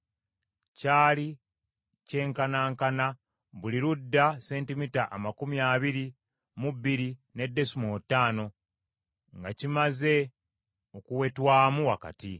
Kyali kyenkanankana, buli ludda sentimita amakumi abiri mu bbiri ne desimoolo ttaano nga kimaze okuwetebwamu wakati.